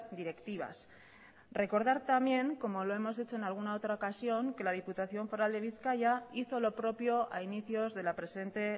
directivas recordar también como lo hemos hecho en alguna otra ocasión que la diputación foral de bizkaia hizo lo propio a inicios de la presente